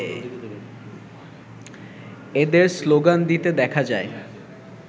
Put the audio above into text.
এদের শ্লোগান দিতে দেখা যায়